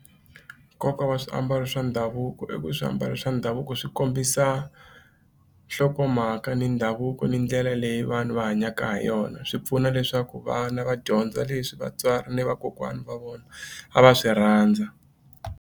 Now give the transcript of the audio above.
Nkoka wa swiambalo swa ndhavuko i ku swiambalo swa ndhavuko swi kombisa nhlokomhaka ni ndhavuko ni ndlela leyi vanhu va hanyaka ha yona swi pfuna leswaku vana va dyondza leswi vatswari ni vakokwana va vona a va swi rhandza.